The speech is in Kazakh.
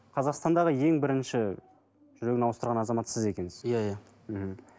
қазақстандағы ең бірінші жүрегін ауыстырған азамат сіз екенсіз иә иә мхм